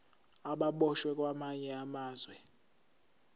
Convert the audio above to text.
ababoshwe kwamanye amazwe